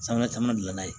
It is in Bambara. Sanfɛla caman dilan n'a ye